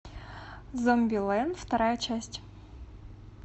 зомбилэнд вторая часть